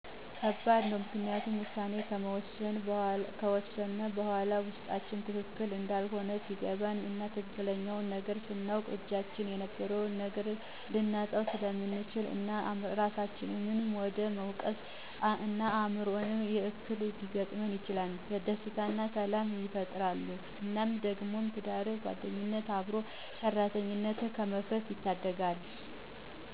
ከባድ ነው ምክንያቱም ውሳኔ ከወሰነ በኋላ ውስጣችን ትክክል እንዳልሆነ ሲገባን እና ትክክለኛውን ነገር ስናውቅ በእጃችን የነበረውን ነገር ልናጣው ስለምንችል እናም እራሳችንን ወደ መውቀስ እና የአዕምሮ እክል ሊገጥመን ይችላል። ደስታንና ሰላም ይፈጥራሉ እናም ደግሞ ትዳርን፣ ጓደኝነትን፣ አብሮ ሠራተኝነትን ከመፍረስ ይታደጉታል